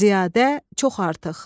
Ziyadə, çox artıq.